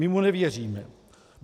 My mu nevěříme.